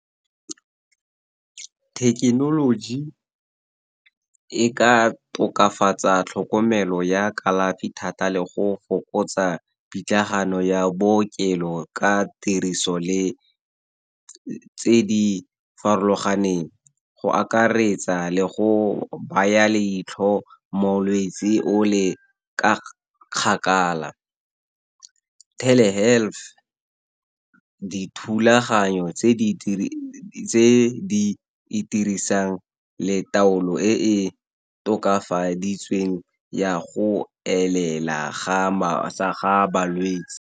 Thekenoloji e ka tokafatsa tlhokomelo ya kalafi thata le go fokotsa pitlagano ya bookelo ka tiriso tse di farologaneng, go akaretsa le go baya leitlho molwetsi o le ka kgakala. Telehealth dithulaganyo tse di dirisang le taolo e e tokafaditsweng ya go elela ga balwetse.